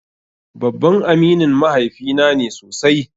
Babban aminin mahaifi na ne sosai.